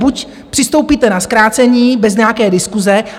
Buď přistoupíte na zkrácení bez nějaké diskuse...